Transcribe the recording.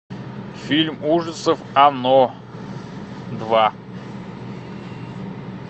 фильм ужасов оно два